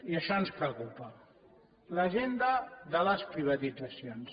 i això ens preocupa l’agenda de les privatitzacions